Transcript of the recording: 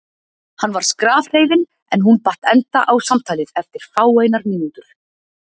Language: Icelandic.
Hann var skrafhreifinn en hún batt enda á samtalið eftir fáeinar mínútur.